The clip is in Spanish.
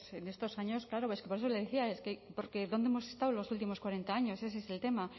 en estos años claro es que por eso le decía es que porque dónde hemos estado en los últimos cuarenta años ese es el tema